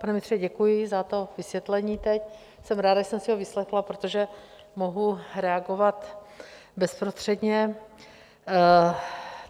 Pane ministře, děkuji za to vysvětlení teď, jsem ráda, že jsem si ho vyslechla, protože mohu reagovat bezprostředně.